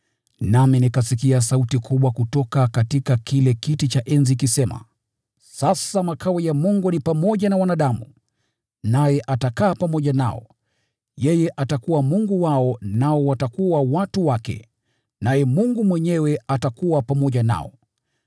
Nami nikasikia sauti kubwa kutoka kile kiti cha enzi ikisema, “Sasa makao ya Mungu ni pamoja na wanadamu, naye atakaa pamoja nao. Yeye atakuwa Mungu wao nao watakuwa watu wake, naye Mungu mwenyewe atakuwa pamoja nao.